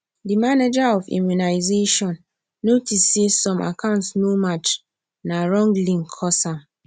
de manager of immunisation notice say some account no match na wrong link cause am